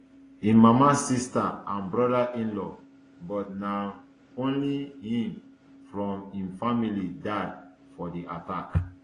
im mama sister and brodainlaw but na um only am from im family die for di attack